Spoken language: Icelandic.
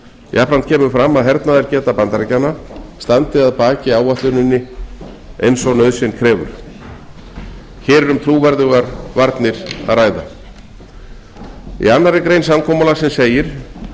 jafnframt kemur fram að hernaðargeta bandaríkjanna standi að baki áætluninni eins og nauðsyn krefur hér er um trúverðugar varnir að ræða í annarri grein samkomulagsins segir